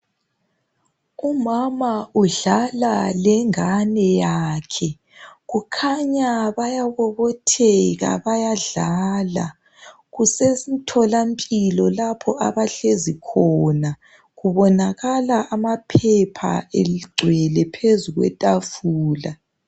Umama udlala lengane yakhe. Kukhanya bayabobotheka bayadlala. Kusemtholampilo lapho abahlezi khona. Kubonakala amaphepha egcwele phezu kwetafula.